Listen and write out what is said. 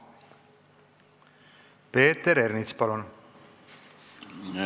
Peeter Ernits, palun!